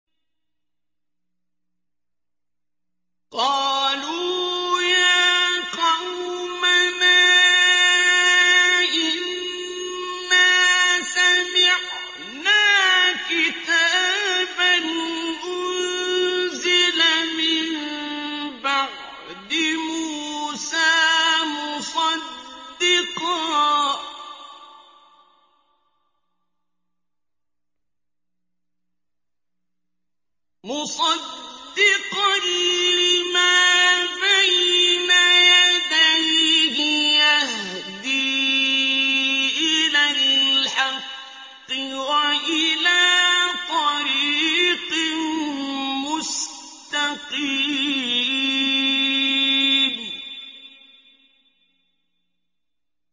قَالُوا يَا قَوْمَنَا إِنَّا سَمِعْنَا كِتَابًا أُنزِلَ مِن بَعْدِ مُوسَىٰ مُصَدِّقًا لِّمَا بَيْنَ يَدَيْهِ يَهْدِي إِلَى الْحَقِّ وَإِلَىٰ طَرِيقٍ مُّسْتَقِيمٍ